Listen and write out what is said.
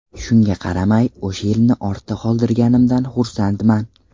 Shunga qaramay, o‘sha yilni ortda qoldirganimdan xursandman.